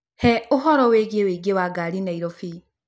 He ũhoro wĩgiĩ ũingĩ wa ngari Nairobi